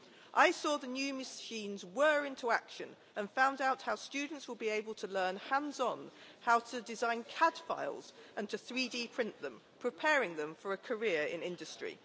I saw the new machines whirr into action, and found out how students will be able to learn, hands on, how to design CAD files and to 3D print them, preparing them for a career in industry.